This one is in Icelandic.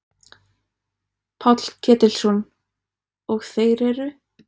Páll Ketilsson: Og þeir eru?